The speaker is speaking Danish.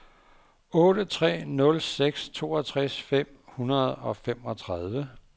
otte tre nul seks toogtres fem hundrede og femogtredive